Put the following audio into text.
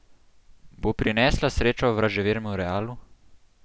Bo prinesla srečo vraževernemu Realu?